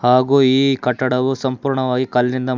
ಹಾಗೂ ಈ ಕಟ್ಟಡವು ಸಂಪೂರ್ಣವಾಗಿ ಕಲ್ಲಿಂದ.